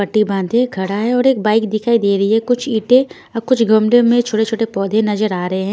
पट्टी बांधे खड़ा है और एक बाइक दिखाई दे रही है कुछ ईंटें और कुछ गमलों में छोटे छोटे पौधे नजर आ रहे है।